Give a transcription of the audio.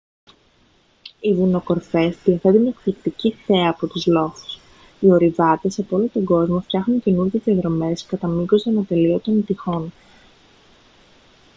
οι βουνοκορφές διαθέτουν εκπληκτική θέα από τους λόφους οι ορειβάτες απ' όλο τον κόσμο φτιάχνουν καινούριες διαδρομές κατά μήκος των ατελείωτων τειχών